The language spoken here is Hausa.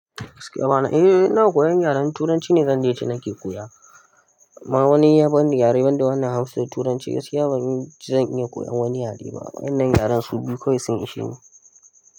Eh ina koyan yaren turanci ne, zan dai ce nake koya. Ma wani ya bani yare wanda wannan Hausa da turanci, gaskiya ban yi, zan iya koyan wani yare ba. Wannnan yaren su biyu kawai sun ishe ni.